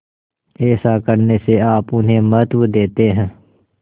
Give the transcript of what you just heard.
ऐसा करने से आप उन्हें महत्व देते हैं